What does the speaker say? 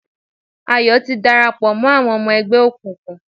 Ayọ̀ ti darapọ̀ mọ́ àwọn ọmọ ẹgbẹ́ òkùnkùn